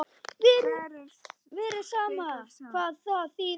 Vera saman, hvað þýðir það?